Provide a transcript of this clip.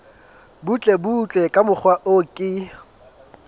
butlebutle ka mokgwa o ke